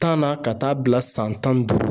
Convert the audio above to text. Tan na ka taa bila san tan ni duuru